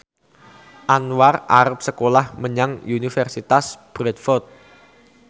Anwar arep sekolah menyang Universitas Bradford